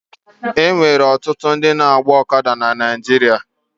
E nwere ọtụtụ ndị na-agba ọkada na Naịjirịa.